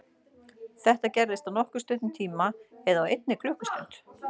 Þetta gerist á nokkuð stuttum tíma eða á einni klukkustund.